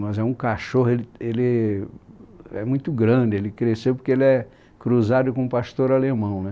Mas é um cachorro e, ele é muito grande, ele cresceu porque ele é cruzado com um pastor alemão, né?